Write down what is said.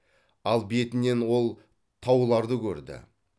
ал бетінен ол тауларды көрді